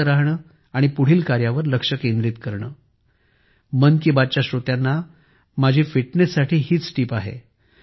शांत राहणे आणि पुढील कार्यावर लक्ष केंद्रित करणे हीच माझ्या मन की बात च्या श्रोत्यांना फिटनेस टीप आहे